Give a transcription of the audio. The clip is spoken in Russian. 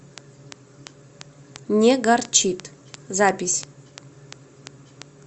не горчит запись